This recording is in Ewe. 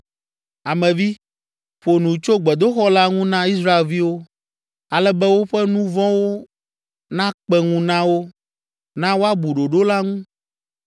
“Ame vi, ƒo nu tso gbedoxɔ la ŋu na Israelviwo, ale be woƒe nu vɔ̃wo nakpe ŋu na wo. Na woabu ɖoɖo la ŋu,